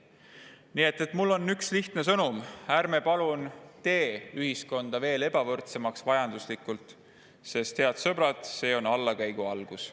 Nii et mul on üks lihtne sõnum: ärme palun teeme ühiskonda veel ebavõrdsemaks, majanduslikult, sest see, head sõbrad, on allakäigu algus.